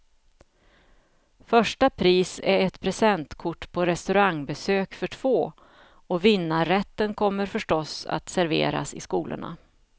Första pris är ett presentkort på restaurangbesök för två, och vinnarrätten kommer förstås att serveras i skolorna.